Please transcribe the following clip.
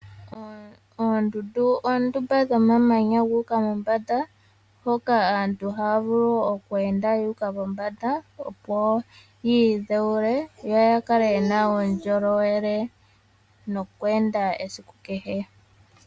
Oondundu oondumba dhomamanya guuka mombanda, hoka aantu ha ya vulu okweenda yu uka momanda opo yi idhewule yo ya kale yena uundjolowele nokweenda esiku kehe.